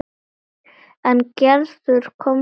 En Gerður komst hvergi.